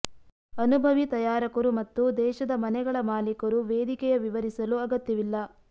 ಅನುಭವಿ ತಯಾರಕರು ಮತ್ತು ದೇಶದ ಮನೆಗಳ ಮಾಲೀಕರು ವೇದಿಕೆಯ ವಿವರಿಸಲು ಅಗತ್ಯವಿಲ್ಲ